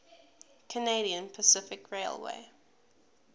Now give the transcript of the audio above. canadian pacific railway